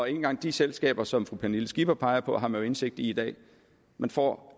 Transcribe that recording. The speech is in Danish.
engang de selskaber som fru pernille skipper peger på har man jo indsigt i i dag man får